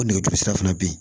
O nɛgɛjuru sira fana be ye